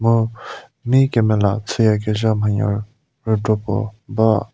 hau mei kemela chüyakezha manya rei kropuo ba.